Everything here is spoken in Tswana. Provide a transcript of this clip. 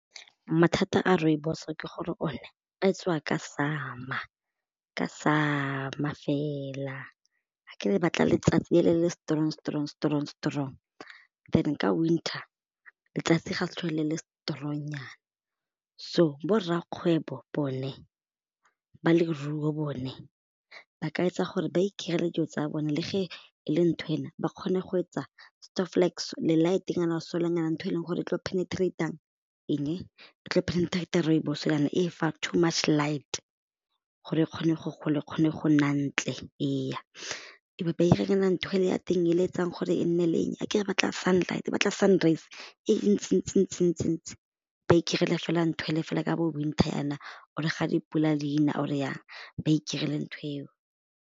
Mathata a rooibos ke gore one a tswa ka summer ka summer fela akere e batla letsatsi le le strong strong strong strong then ka winter letsatsi ga le sa tlhole le le strong nyana so borrakgwebo bone ba leruo bone ba ka etsa gore ba ikaelele dilo tsa bone le ge e le ntho ena ba kgone go etsa le light nyana solar nyana ntho e leng gore e tlo penetrate-a eng ba tlo penetrate rooibos ele e fa too much light gore e kgone go e kgone go nna ntle eya e be ba iranyana ntho ele ya teng e leng etsang gore e nne le eng akere re batla sun light e batla sun rays e ntsi ntsi ntsi ntsi ntsi ba fela ntho ele fela ka bo winter yana or ga dipula di na or e yang ba iketlile ntho eo.